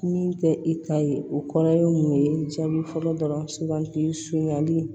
Min tɛ i ta ye o kɔrɔ ye mun ye jaabi fɔlɔ dɔrɔn sugandi sugunɛli